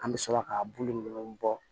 An bɛ sɔrɔ ka bulu ninnu bɔ